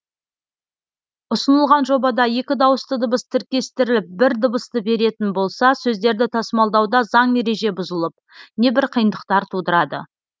ұсынылған жобада екі дауысты дыбыс тіркестіріліп бір дыбысты беретін болса сөздерді тасымалдауда заң ереже бұзылып небір қиындықтар тудырады